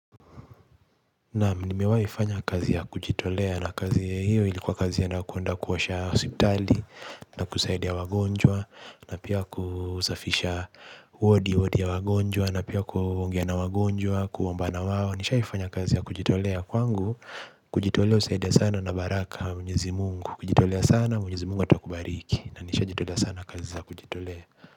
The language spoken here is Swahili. Naam nimewai fanya kazi ya kujitolea na kazi hiyo ilikuwa kazi ya na kwenda kuosha hospitali na kusaidia wagonjwa na pia kusafisha wodi wodi ya wagonjwa na pia kuongea na wagonjwa kuomba na wao. Nishaifanya kazi ya kujitolea kwangu kujitolea husaidia sana na baraka ya Mwenyezi Mungu. Ukijitolea sana Mwenyezi Mungu atakubariki na nisha jitolea sana kazi za kujitolea.